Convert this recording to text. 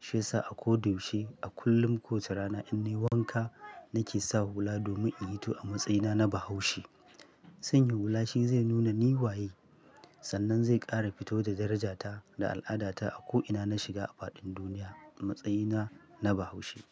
Shiyasa a ko da yaushe, a kullum kowace rana in nai wanka nake sawa hula domin in hito a matsayina na Bahaushe. Sanya hula shi zai nuna ni waye, sannan zai ƙara hito da darajata da al'adata a ko ina na shiga a faɗin duniya a matsayina na Bahaushe.